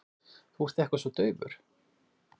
Þú ert eitthvað svo daufur.